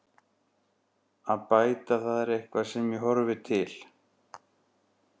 Að bæta það er eitthvað sem ég horfi til.